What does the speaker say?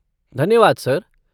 धन्यवाद सर।